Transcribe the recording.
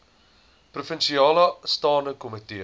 provinsiale staande komitee